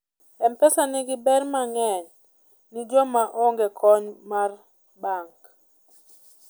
mpesa nigi ber mang'eny ni joma onge kony mar bank